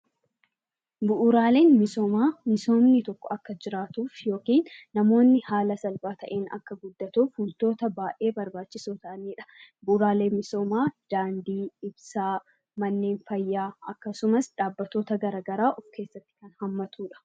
Bu'uuraaleen misoomaa misoomni tokko akka jiraatuuf yookiin namoonni haala salphaa taheen akka guddatuuf wantoota baayee barbaachisoo tahanidha. Bu'uuraaleen misoomaa daandii, ibsaa, manneen fayyaa akkasumas dhaabbatoota garagaraa of keessatti Kan hammatudha.